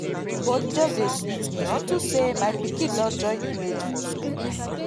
body just dey sweet me unto say my pikin don join im mate for school